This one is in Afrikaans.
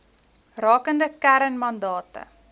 rakende kern mandate